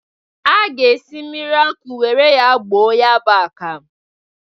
A ga-esi mmiri ọkụ were ya gboo ya bụ akam.